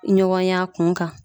Ɲɔgɔn y'a kun kan